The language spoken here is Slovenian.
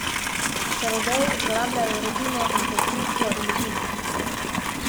Čarodeji uporabljajo rutino in konstrukcijo iluzij.